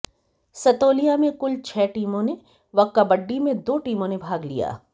सतोलिया में कुल छह टीमों ने व कब्बडी में दो टीमों ने भाग लिया